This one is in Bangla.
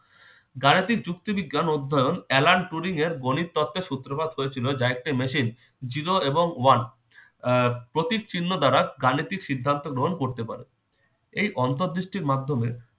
গাণিতিক যুক্তি বিজ্ঞান অধ্যায়ন alan turing এর গণিত তত্ত্বের সূত্রপাত হয়েছিল যা একটি machine zero এবং one আহ প্রতীক চিহ্ন দ্বারা গাণিতিক সিদ্ধান্ত গ্রহণ করতে পারে। এই অন্তর্দৃষ্টির মাধ্যমে